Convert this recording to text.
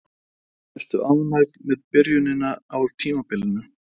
Ertu ánægð með byrjunina á tímabilinu?